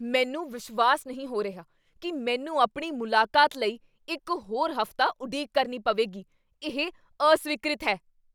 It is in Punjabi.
ਮੈਨੂੰ ਵਿਸ਼ਵਾਸ ਨਹੀਂ ਹੋ ਰਿਹਾ ਕੀ ਮੈਨੂੰ ਆਪਣੀ ਮੁਲਾਕਾਤ ਲਈ ਇੱਕ ਹੋਰ ਹਫ਼ਤਾ ਉਡੀਕ ਕਰਨੀ ਪਵੇਗੀ। ਇਹ ਅਸਵੀਕ੍ਰਿਤ ਹੈ।